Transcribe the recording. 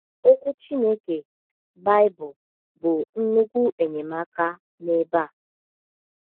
Okwu Chineke, Baịbụl, bụ nnukwu enyemaka n’ebe a.